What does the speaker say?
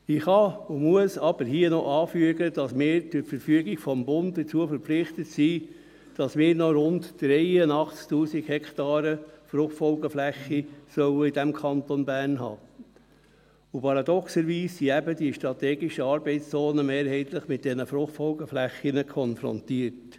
Ich kann und muss aber hier noch anfügen, dass wir durch Verfügung des Bundes dazu verpflichtet sind, noch rund 83 000 Hektaren Fruchtfolgeflächen (FFF) in diesem Kanton zu haben, und paradoxerweise sind eben die strategischen Arbeitszonen mehrheitlich mit diesen FFF konfrontiert.